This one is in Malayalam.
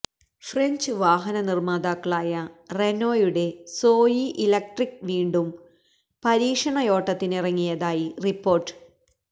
ഫ്രഞ്ച് വാഹന നിര്മ്മാതാക്കളായ റെനോയുടെ സോയി ഇലക്ട്രിക്ക് വീണ്ടും പരീക്ഷണയോട്ടത്തിനിറങ്ങിയതായി റിപ്പോര്ട്ട്